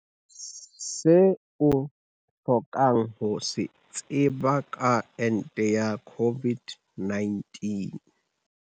Se o hlokang ho se tseba ka ente ya COVID-19